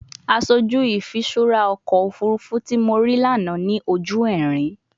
Aṣoju ifiṣura ọkọ ofurufu ti mo rii lana ni oju ẹrin